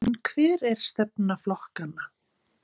En hver er stefna flokkanna?